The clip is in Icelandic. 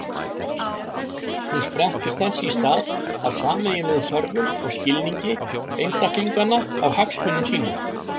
Hún sprettur þess í stað af sameiginlegum þörfum og skilningi einstaklinganna á hagsmunum sínum.